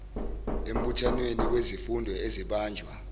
embuthanweni wezifundo ezibanjwa